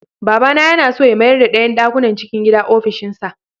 Baba yana so ya mayarda ɗayan ɗakunan cikin gida ofishinsa.